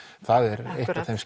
það er eitt af þeim